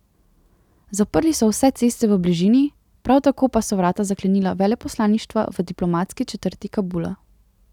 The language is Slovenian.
Zaprli so vse ceste v bližini, prav tako pa so vrata zaklenila veleposlaništva v diplomatski četrti Kabula.